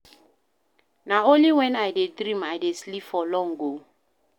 Na only wen I dey dream I dey sleep for long o.